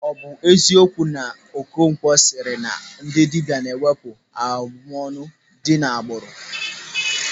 Ọ bụ eziokwu na Okonkwo sịrị na ndị dibịa na-ewepụ abụmọnụ dị n'agbụrụ?